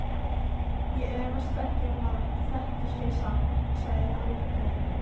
Ég efast ekki um að þetta sé satt, sagði Þórður.